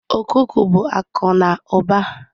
Okuko bụ akụ na ụba.